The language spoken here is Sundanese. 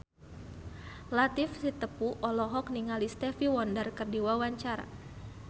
Latief Sitepu olohok ningali Stevie Wonder keur diwawancara